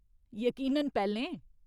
यकीनन पैह्‌लें।